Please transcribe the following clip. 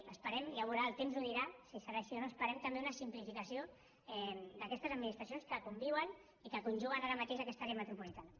ho esperem ja es veurà el temps ho dirà si serà així o no esperem també una simplificació d’aquestes administracions que conviuen i que conjuguen ara mateix aquesta àrea metropolitana